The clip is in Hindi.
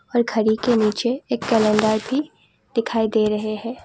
और घरी के नीचे एक कैलेंडर भी दिखाई दे रहे हैं।